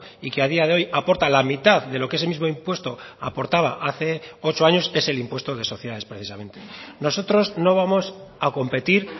y que a día de hoy aporta la mitad de lo que ese mismo impuesto aportaba hace ocho años es el impuesto de sociedades precisamente nosotros no vamos a competir